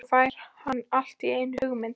Svo fær hann allt í einu hugmynd.